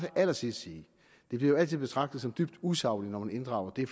allersidst sige at det altid bliver betragtet som dybt usagligt når man inddrager det